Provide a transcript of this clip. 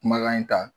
Kumakan in ta